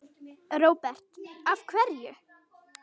Róbert: Af hverju?